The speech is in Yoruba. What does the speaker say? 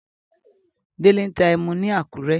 Délé ń ta ẹmu ni Àkúrẹ́.